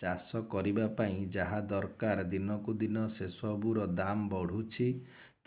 ଚାଷ କରିବା ପାଇଁ ଯାହା ଦରକାର ଦିନକୁ ଦିନ ସେସବୁ ର ଦାମ୍ ବଢୁଛି